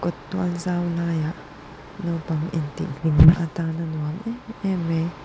tual zau laiah naupang intih hlimna a tana nuam emem mai--